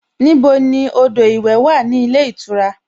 Níbo ni odò ìwẹ̀ wà ní ilé ìtura?